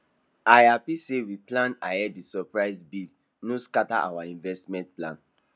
i happy say we plan ahead the surprise bill no scatter our investment plan